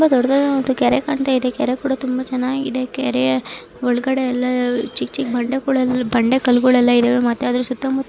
ತುಂಬಾ ದೊಡ್ಡದಾದಂತಹ ಕೆರೆ ಕಾಣ್ತಾ ಇದೆ ಕೆರೆ ಕೂಡ ತುಂಬಾ ಚೆನಾಗಿದೆ ಕೆರೆ ಒಳಗಡೆ ಎಲ್ಲಾ ಚಿಕ್ ಚಿಕ್ ಬಂಡೆ ಕಲ್ಗಳೋಲ್ಲ ಇದ್ದಾವೆ ಮತ್ತೆ ಅದರ್ ಸುತ್ತ ಮುತ್ತ --